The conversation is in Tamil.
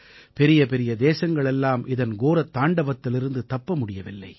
பெரியபெரிய தேசங்கள் எல்லாம் இதன் கோரத் தாண்டவத்திலிருந்து தப்ப முடியவில்லை